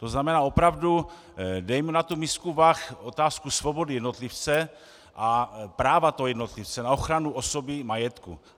To znamená, opravdu dejme na tu misku vah otázku svobody jednotlivce a práva toho jednotlivce na ochranu osoby i majetku.